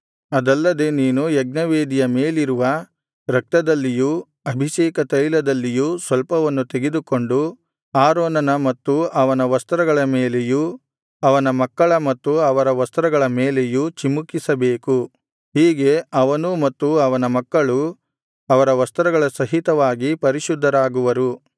ಅದಲ್ಲದೆ ನೀನು ಯಜ್ಞವೇದಿಯ ಮೇಲಿರುವ ರಕ್ತದಲ್ಲಿಯೂ ಅಭಿಷೇಕ ತೈಲದಲ್ಲಿಯೂ ಸ್ವಲ್ಪವನ್ನು ತೆಗೆದುಕೊಂಡು ಆರೋನನ ಮತ್ತು ಅವನ ವಸ್ತ್ರಗಳ ಮೇಲೆಯೂ ಅವನ ಮಕ್ಕಳ ಮತ್ತು ಅವರ ವಸ್ತ್ರಗಳ ಮೇಲೆಯೂ ಚಿಮುಕಿಸಬೇಕು ಹೀಗೆ ಅವನೂ ಮತ್ತು ಅವನ ಮಕ್ಕಳೂ ಅವರ ವಸ್ತ್ರಗಳ ಸಹಿತವಾಗಿ ಪರಿಶುದ್ಧರಾಗುವರು